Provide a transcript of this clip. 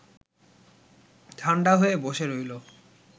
ঠান্ডা হয়ে বসে রইল